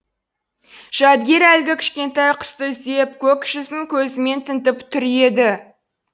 жәдігер әлгі кішкентай құсты іздеп көк жүзін көзімен тінтіп түр еді